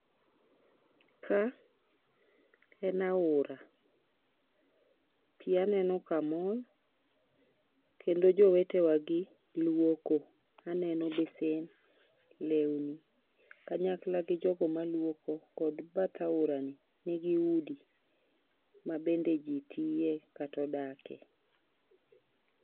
ka en aora, pi aneno kamol kendo jowetewa gi luoko aneno besen lewni kanyakla gi jogo maluoko kod bath aorano ni gi udi mabende ji tiye kata odake